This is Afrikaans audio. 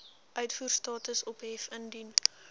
uitvoerstatus ophef indien